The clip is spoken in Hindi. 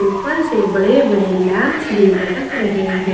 ऊपर से बड़े-बड़े लैंप्स भी लटक रहे हैं।